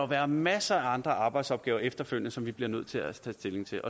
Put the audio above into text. være masser af andre arbejdsopgaver efterfølgende som vi bliver nødt til at tage stilling til